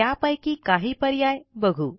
त्यापैकी काही पर्याय बघू